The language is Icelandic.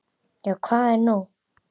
Já, hvað er nú?